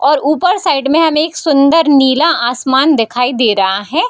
और ऊपर साइड में हमे एक सुंदर नीला आसमान दिखाई दे रहा है।